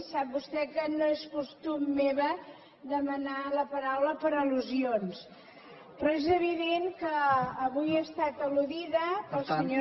sap vostè que no és costum meu demanar la paraula per al·lusions però és evident que avui he estat al·ludida pel senyor